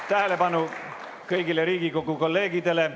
Tähelepanu, kõik Riigikogu kolleegid!